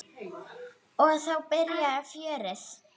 Og þá byrjaði fjörið.